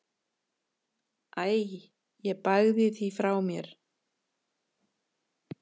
Æ ég bægi því frá mér.